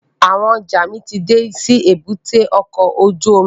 Àwọn ọjọ́ mi ti dé sí èbúté ọkọ̀ ojú omi